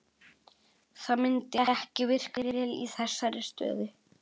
Það myndi ekki virka vel í þessari stöðu.